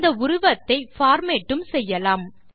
இந்த உருவத்தை பார்மேட் உம் செய்யலாம்